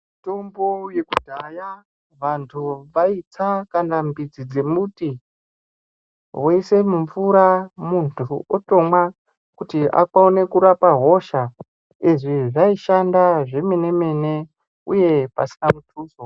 Mitombo yekudhaya vantu vaitsa nyangwe midzi dzemuti voise mumvura muntu otomwa kuti akone kurapa hosha .Izvi zvaishanda zvemene mene uye pasina mubvunzo.